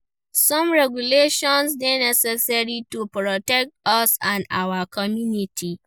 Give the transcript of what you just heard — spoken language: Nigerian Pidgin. Some regulations dey necessary to protect us and our communities.